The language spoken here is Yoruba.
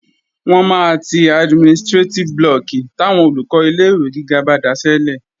Wọ́n máa ti administrétíf blọọ̀kì táwọn Olùkọ́ ilé-ìwé gíga bá daṣẹ́lẹ̀